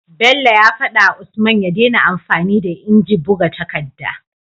Bello ya fada wa usman ya dena amfani da inji buga takadda